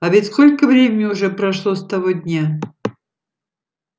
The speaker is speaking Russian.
а ведь сколько времени уже прошло с того дня